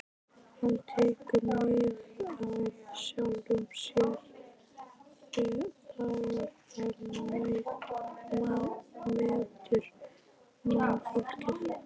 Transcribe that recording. Hann tekur mið af sjálfum sér þegar hann metur mannfólkið.